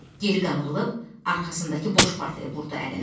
Geri qanrılıb arxasındakı boş partaya vurdu əlini.